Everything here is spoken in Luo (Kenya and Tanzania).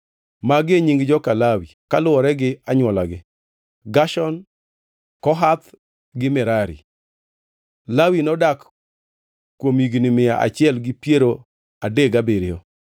Magi e nying joka Lawi kaluwore gi anywolagi: Gershon, Kohath gi Merari. (Lawi nodak kuom higni mia achiel gi piero adek gabiriyo.)